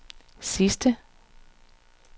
sidste